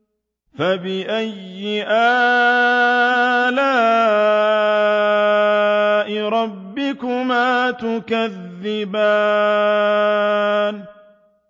فَبِأَيِّ آلَاءِ رَبِّكُمَا تُكَذِّبَانِ